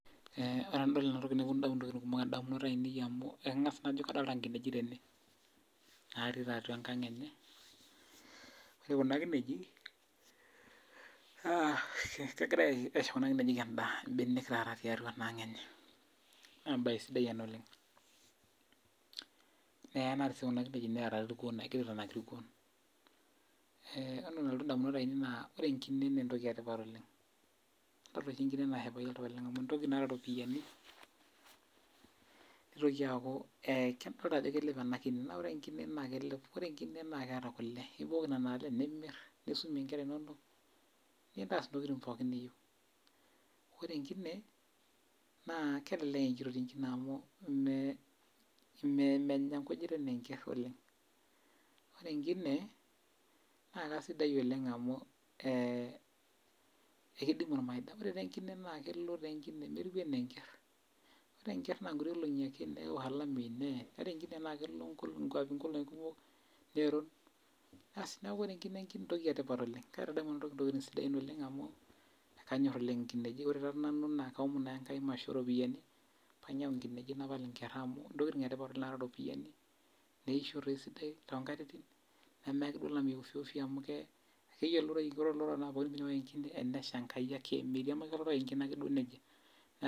Ore tenadol enatoki naa kadolita nkinejik natii engag enye ore Kuna kineji negirai aishoo endaa tiatua enkang enye naa mbae sidai ena oleng netaa sii Kuna kinijik negira aitanak irkuo lenye ore enkine naa entoki etipat oleng amu keeta ropiani nitoki aku kelopo ena kine ketaa kule niok Nena ale nimir nisumie Nkera inono nintapash ntokitin pookin niyieu ore enkine naa kelelek enkitotio enkine menya nkujit oleng ena enkera ore enkine naa kisidai oleng amu na kelo enkine metieu ena enker kutiti olongi ake ewosh olamei enkera neye ore enkine kelo nkolongi kumok neron neeku ore enkine naa entoki etipat oleng ore nanu na kaomon enkai maishoo ropiani nainyiang'u nkinejik napal enkera amu keisho doi esidai netaa eropiani nemeya sii duo olamei ovyo ovyo amu mitiamiaki ake duo oloroki enkine nejia